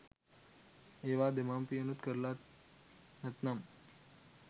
ඒවා දෙමව්පියනුත් කරල නැත්නම්